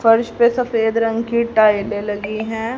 फर्श पे सफेद रंग की टाइलें लगी हैं।